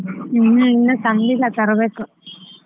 ಉಹು ಇನ್ನು ತಂದಿಲ್ಲ ತರಬೇಕ್.